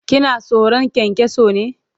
Kina tsoron kyankyaso ne?